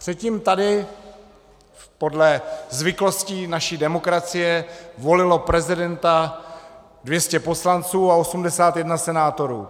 Předtím tady, podle zvyklostí naší demokracie, volilo prezidenta 200 poslanců a 81 senátorů.